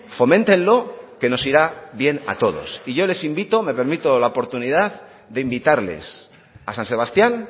foméntenlo que nos irá bien a todos y yo les invito me permito la oportunidad de invitarles a san sebastián